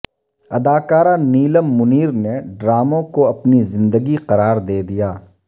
اداکارہ نیلم منیر نے ڈراموں کو اپنی زندگی قرار دے دیا